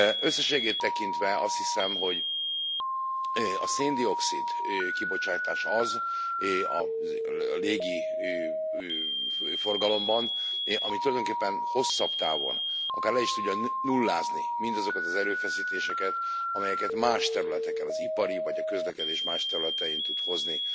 Összességében tekintve azt hiszem, hogy a szén dioxid kibocsátás az a légi forgalomban, ami tulajdonképpen hosszabb távon akár le is tudja nullázni mindazokat az erőfeszítéseket, amelyeket más területeken, az ipar, vagy a közlekedés más területein tud hozni